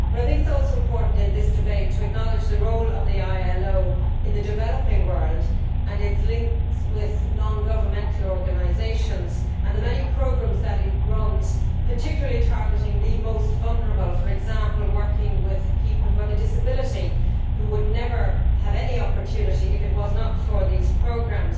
But I think it is also important in this debate to acknowledge the role of the ILO in the developing world and its links with non governmental organisations and the many programmes which it runs particularly targeting the most vulnerable, for example, working with people with a disability who would never have any opportunity if it were not for these programmes.